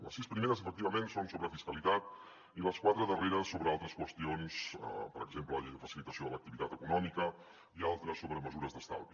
les sis primeres efectivament són sobre fiscalitat i les quatre darreres sobre altres qüestions per exemple la llei de facilitació de l’activitat econòmica i altres sobre mesures d’estalvi